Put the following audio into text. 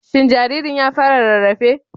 Shin jaririn ya fara rarrafe?